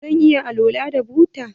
Zan iya alwala da buta?